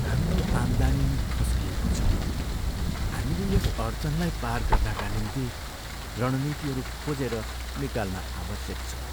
हाम्रो आम्दानी खस्किएको छ! हामीले यस अडचानलाई पार गर्नाका निम्ति रणनीतिहरू खोजेर निकाल्न आवश्यक छ।